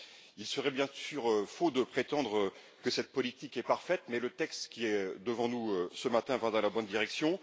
Il serait bien sûr faux de prétendre que cette politique est parfaite, mais le texte qui est devant nous, ce matin, va dans la bonne direction.